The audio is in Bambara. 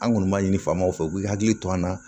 An kɔni ma ɲini faamaw fɛ u k'i hakili to an na